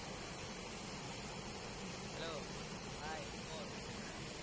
Hello Hi Omar